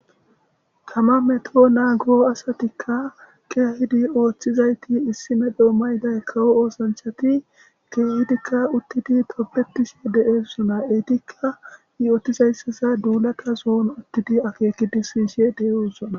Tama meeto naago asatika kehidi oththizayti issi medhdho mayida kawo othanchati kehidika uttidi tobbetishe deossona eetika yottizaysa duulatason uttidi akkekidi siyishe de'ossona.